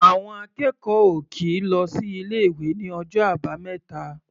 Àwọn akẹ́kọ̀ọ́ ò kì í lọ sí ilé-ìwé ní ọjọ́ Àbámẹ́ta.